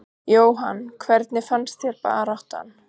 Jóhann: Hvernig fannst þér baráttan?